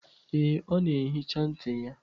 Ee, ọ na-ehicha ntị ya.